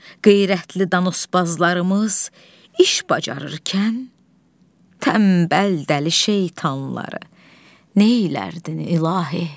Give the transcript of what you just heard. Qeyrətli danospazlarımız iş bacararkən tənbəl dəli şeytanları neylərdin, İlahi?